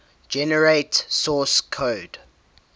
generate source code